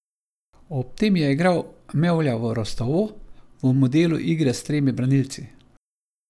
Ob tem je igral Mevlja v Rostovu v modelu igre s tremi branilci ...